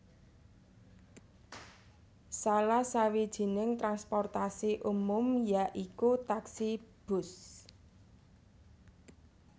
Salah sawijining transportasi umum ya iku taksi bus